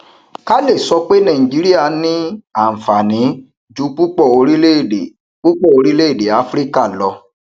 kale sọ pé nàìjíríà ní àǹfààní ju púpọ orílẹèdè púpọ orílẹèdè áfíríkà lọ